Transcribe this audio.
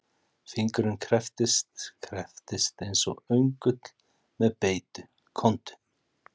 Fingurinn krepptist, krepptist eins og öngull með beitu, komdu.